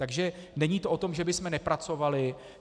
Takže není to o tom, že bychom nepracovali.